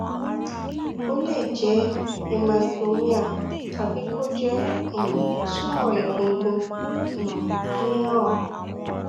ó lè jẹ hemangioma tàbí kó jẹ um tumor egungun um mìíràn